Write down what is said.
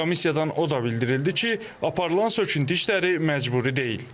Komissiyadan o da bildirildi ki, aparılan söküntü işləri məcburi deyil.